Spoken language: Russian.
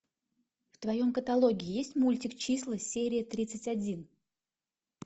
в твоем каталоге есть мультик числа серия тридцать один